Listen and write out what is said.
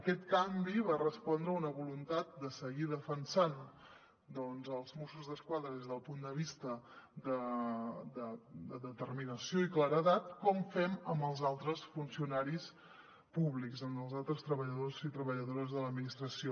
aquest canvi va respondre a una voluntat de seguir defensant els mossos d’esquadra des del punt de vista de determinació i claredat com fem amb els altres funcionaris públics amb els altres treballadors i treballadores de l’administració